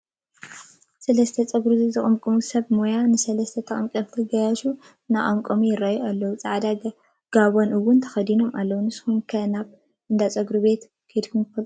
ሰለስተ ፀጉሪ ዝቕምቁሙ ሰብ ሞያ ንሰለስተ ተቐምቀምቲ ጋያሹ እንትቕምቅሙዎም ይራኣዩ ኣለው፡፡ ፃዕዳ ጋቦን ውን ተኸዲኖም ኣለው፡፡ ንስኻ ኸ ናብ እንዳ ፀጉሪ መቐምቀሚ ከይድካ ዶ ትፈልጥ?